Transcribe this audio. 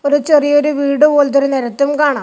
ഒരു ചെറിയൊരു വീട് പോലത്തെ ഒരു നെരത്തും കാണാം.